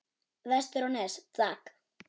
Vestur á Nes, takk!